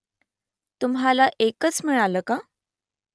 तुम्हाला एकच मिळालं का ?